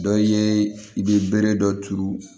Dɔ ye i bɛ bere dɔ turu